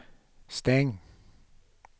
stäng